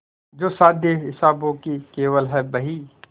जो शादी हिसाबों की केवल है बही